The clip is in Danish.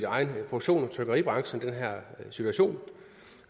egen produktion i trykkeribranchen